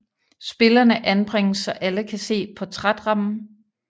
Spillerne anbringes så alle kan se portrætrammen